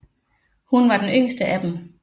Hun var den yngste af dem